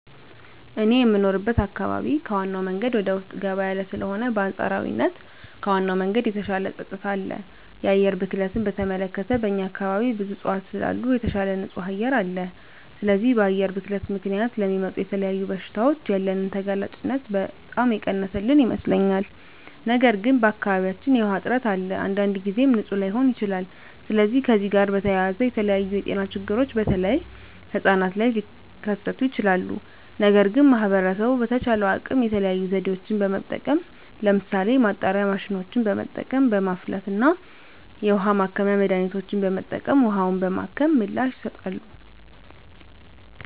እኔ የምኖርበት አካባቢ ከዋናው መንገድ ወደ ውስጥ ገባ ያለ ስለሆነ በአንፃራዊነት ከዋናው መንገድ የተሻለ ፀጥታ አለ። የአየር ብክለትን በተመለከተ በእኛ አካባቢ ብዙ እፅዋት ስላሉ የተሻለ ንፁህ አየር አለ። ስለዚህ በአየር ብክለት ምክንያት ለሚመጡ ለተለያዩ በሽታዎች ያለንን ተጋላጭነት በጣም የቀነሰልን ይመስለኛል። ነገር ግን በአካባቢያችን የዉሃ እጥረት አለ። አንዳንድ ጊዜም ንፁህ ላይሆን ይችላል። ስለዚህ ከዚህ ጋር በተያያዘ የተለያዩ የጤና ችግሮች በተለይ ህጻናት ላይ ሊከስቱ ይችላሉ። ነገር ግን ማህበረሰቡ በተቻለው አቅም የተለያዩ ዘዴዎችን በመጠቀም ለምሳሌ ማጣሪያ ማሽኖችን በመጠቀም፣ በማፍላት እና የውሀ ማከሚያ መድሀኒቶችን በመጠቀም ውሀውን በማከም ምላሽ ይሰጣሉ።